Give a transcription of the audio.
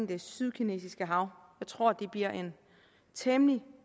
det sydkinesiske hav jeg tror det bliver en temmelig